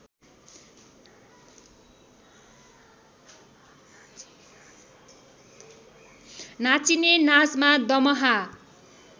नाचिने नाचमा दमाहा